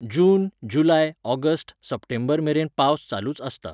जून July August सप्टेंबरमेरेन पावस चालूच आसता.